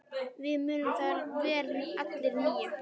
Við munum það vel allir níu.